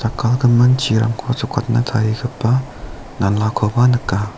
jakkalgimin chirangko jokatna tarigipa nalakoba nika.